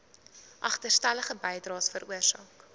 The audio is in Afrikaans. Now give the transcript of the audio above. agterstallige bydraes veroorsaak